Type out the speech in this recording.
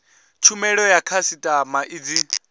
tshumelo ya khasitama i dzi